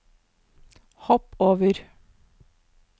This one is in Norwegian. hopp over